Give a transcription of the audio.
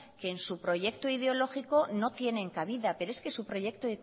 que en su proyecto ideológico no tienen cabida pero es que su proyecto